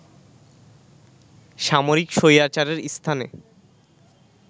সামরিক স্বৈরাচারের স্থানে